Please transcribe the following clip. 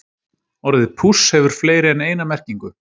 Orðið púss hefur fleiri en eina merkingu.